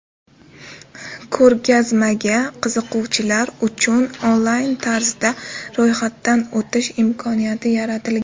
Ko‘rgazmaga qiziquvchilar uchun onlayn tarzda ro‘yxatdan o‘tish imkoniyati yaratilgan.